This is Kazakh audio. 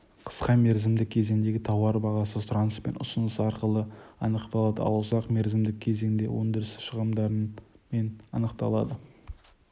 қысқа мерзімдік кезеңдегі тауар бағасы сұраныс пен ұсыныс арқылы анықталады ал ұзақ мерзімдік кезеңде өндіріс шығындарымен анықталады